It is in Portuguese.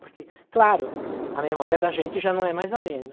Porque, claro, a memória da gente já não é mais a mesma.